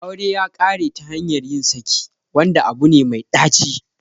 Aure ya kare ta hanyar yin saki, wanda abu ne mai ɗaci